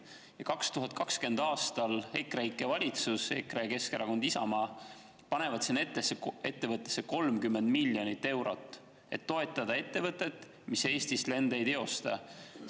Ja 2020. aastal EKREIKE valitsus – EKRE, Isamaa, Keskerakond – pani sinna ettevõttesse 30 miljonit eurot, et toetada ettevõtet, mis Eestist lende ei teostanud.